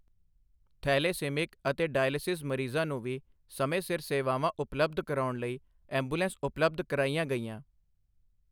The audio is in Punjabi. ਥੈਲੇਸੀਮਿਕ ਅਤੇ ਡਾਇਲਸਿਸ ਮਰੀਜ਼ਾਂ ਨੂੰ ਵੀ ਸਮੇਂ ਸਿਰ ਸੇਵਾਵਾਂ ਉਪਲਬਧ ਕਰਾਉਣ ਲਈ ਐਂਬੂਲੈਂਸ ਉਪਲਬਧ ਕਰਾਈਆਂ ਗਈਆਂ।